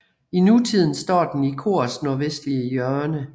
I nutiden står den i korets nordvestlige hjørne